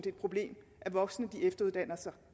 et problem at voksne efteruddanner sig